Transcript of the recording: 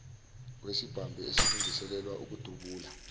wesibhamu esilungiselelwa ukudubula